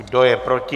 Kdo je proti?